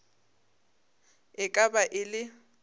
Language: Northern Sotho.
e ka ba e le